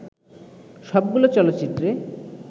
সবগুলো চলচ্চিত্রে